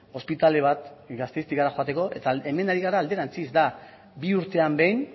ospitale bat gasteiztik hara joateko eta hemen ari gara alderantziz da bi urtean behin